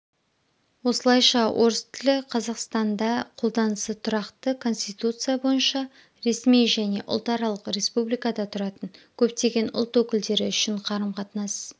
осылайша орыс тілі қазақстанда қолданысы тұрақты конституция бойынша ресми және ұлтаралық республикада тұратын көптеген ұлт өкілдері үшін қарым-қатынас